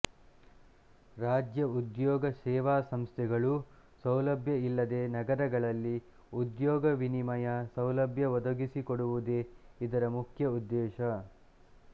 ರಾಜ್ಯ ಉದ್ಯೋಗ ಸೇವಾಸಂಸ್ಥೆಗಳೂ ಸೌಲಭ್ಯ ಇಲ್ಲದೆ ನಗರಗಳಲ್ಲಿ ಉದ್ಯೋಗ ವಿನಿಮಯ ಸೌಲಭ್ಯ ಒದಗಿಸಿಕೊಡುವುದೇ ಇದರ ಮುಖ್ಯ ಉದ್ದೇಶ